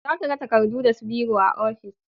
Za ka ga takardu da su biro a ofis